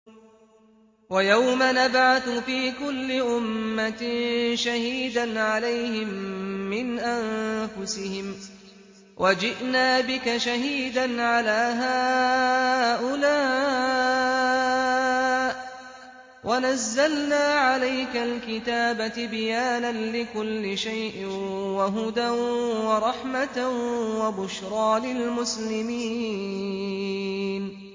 وَيَوْمَ نَبْعَثُ فِي كُلِّ أُمَّةٍ شَهِيدًا عَلَيْهِم مِّنْ أَنفُسِهِمْ ۖ وَجِئْنَا بِكَ شَهِيدًا عَلَىٰ هَٰؤُلَاءِ ۚ وَنَزَّلْنَا عَلَيْكَ الْكِتَابَ تِبْيَانًا لِّكُلِّ شَيْءٍ وَهُدًى وَرَحْمَةً وَبُشْرَىٰ لِلْمُسْلِمِينَ